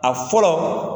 A fɔlɔ